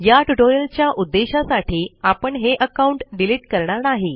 या ट्यूटोरियल च्या उद्देशासाठी आपण हे अकाउंट डिलीट करणार नाही